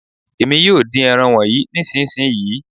Èmi yóò dín ẹran wọnyí nísìnsisìyí.